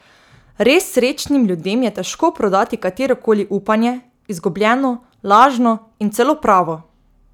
Res srečnim ljudem je težko prodati katero koli upanje, izgubljeno, lažno in celo pravo.